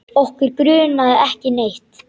Okkur grunaði ekki neitt.